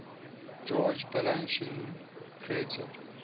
george balanchine created